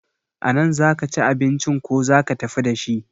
A nan za ki ci abincin ko za ki tafi dashi?